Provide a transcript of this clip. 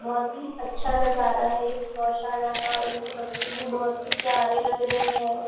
बहुत ही अच्छा नज़ारा है एक गोशाला का उनके बच्चे भी बहुत ही प्यारे लग रहे हैं।